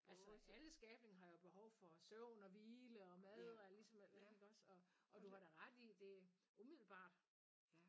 Altså alle skabning har jo behov for søvn og hvile og mad og ligesom iggås og og du har da ret i' det umiddelbart